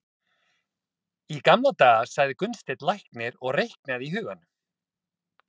Í gamla daga, sagði Gunnsteinn læknir og reiknaði í huganum.